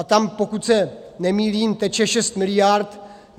A tam, pokud se nemýlím, teče 6 miliard.